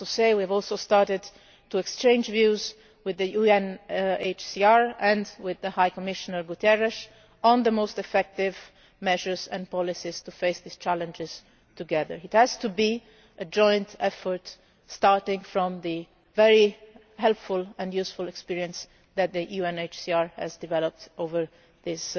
We have also started to exchange views with the UNHCR and with High Commissioner Guterres on the most effective measures and policies to face these challenges together. It has to be a joint effort starting from the very helpful and useful experience that the UNHCR has developed